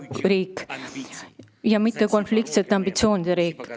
Ühtsuse, mitte konfliktsete ambitsioonide kontinent.